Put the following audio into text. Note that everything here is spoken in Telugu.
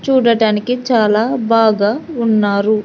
చూడటానికి చాలా బాగా ఉన్నారు.